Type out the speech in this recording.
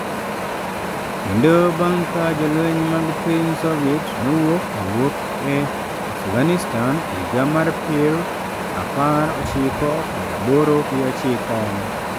Kendo bang' ka jolweny mag piny Soviet nowuok owuok e Afghanistan e higa mar pir apar ochiko pir aboro gi ochiko.